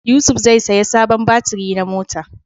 Yusuf zai saya sabon batiri na mota